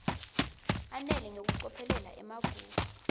ananele ngekucophelela emagugu